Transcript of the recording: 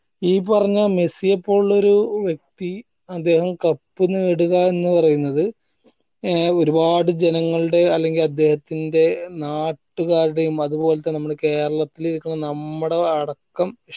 ഈ പറഞ്ഞ മെസ്സിയെ പോലുള്ളൊരു വ്യക്തി അദ്ദേഹം cup നേടുക എന്ന് പറയുന്നത് ഏർ ഒരുപാട് ജനങ്ങൾടെ അല്ലെങ്കിൽ അദ്ദേഹത്തിന്റെ നാട്ടുകാരുടെയും അതുപോലെ തന്നെ നമ്മള് കേരളത്തിലിരിക്കണ നമ്മടെ അടക്കം